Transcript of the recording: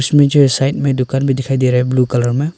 मुझे साइड में दुकान भी दिखाई दे रहा है ब्लू कलर में--